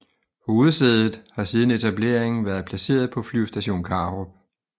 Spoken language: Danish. Hovedsædet har siden etableringen været placeret på Flyvestation Karup